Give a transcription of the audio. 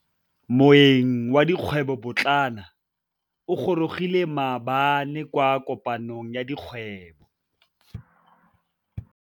Moêng wa dikgwêbô pôtlana o gorogile maabane kwa kopanong ya dikgwêbô.